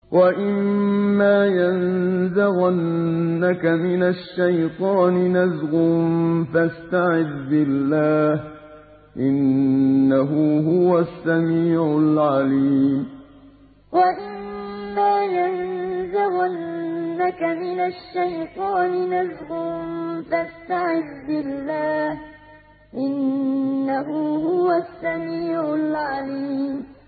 وَإِمَّا يَنزَغَنَّكَ مِنَ الشَّيْطَانِ نَزْغٌ فَاسْتَعِذْ بِاللَّهِ ۖ إِنَّهُ هُوَ السَّمِيعُ الْعَلِيمُ وَإِمَّا يَنزَغَنَّكَ مِنَ الشَّيْطَانِ نَزْغٌ فَاسْتَعِذْ بِاللَّهِ ۖ إِنَّهُ هُوَ السَّمِيعُ الْعَلِيمُ